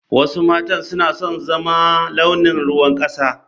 Wasu matan suna son su zama launin ruwan kasa.